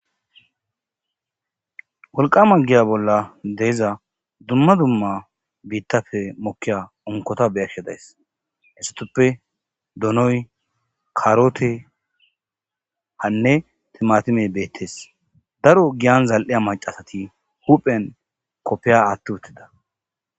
Wolqama giya bolla de'iza bitappe dumma dumma giya bolla bitafe mokiza unkkota beyashsh days istappe donoy karoteynne timatimey betees daro giya zal'iza macat huphphen kopiya aththi utida